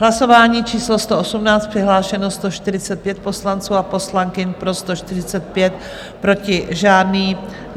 Hlasování číslo 118, přihlášeno 145 poslanců a poslankyň, pro 145 proti žádný.